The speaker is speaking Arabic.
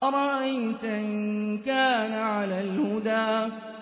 أَرَأَيْتَ إِن كَانَ عَلَى الْهُدَىٰ